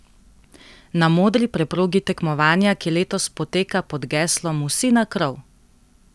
Na modri preprogi tekmovanja, ki letos poteka pod geslom Vsi na krov!